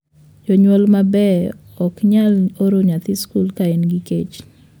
Jonyuol mabeyo ok nyal oro nyathi skul ka en gi kech.